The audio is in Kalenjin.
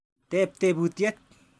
Tep teputyet.